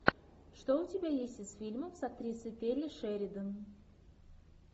что у тебя есть из фильмов с актрисой келли шеридан